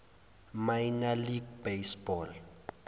minor league baseball